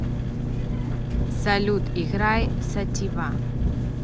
салют играй сатива